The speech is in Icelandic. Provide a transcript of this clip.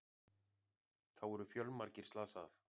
Þá eru fjölmargir slasað